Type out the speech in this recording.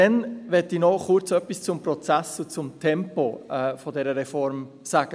Dann möchte ich noch kurz etwas zum Prozess und zum Tempo dieser Reform sagen;